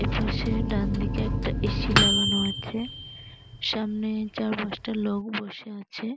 এপাশে ডানদিকে একটা এ.সি. লাগানো আছে সামনে চারপাঁচটা লোক বসে আছে।